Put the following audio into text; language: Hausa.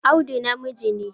Audu namiji ne